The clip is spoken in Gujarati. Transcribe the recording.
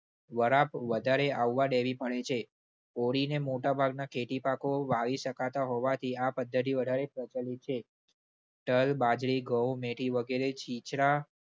વરાપ વધારે આવવા દેવી પડે છે. ઓળીને મોટાભાગના ખેતીપાકો વાવી શકાતા હોવાથી આ પદ્ધતિ વધારે પ્રચલિત છે. તલ, બાજરી, ઘઉં, મેથી વગેરે છીંછરા